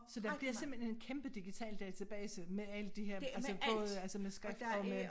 Så der bliver simpelthen en kæmpe digital database med alle de her altså både altså med skrift og med